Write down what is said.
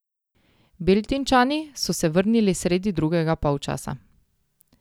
Beltinčani so se vrnili sredi drugega polčasa.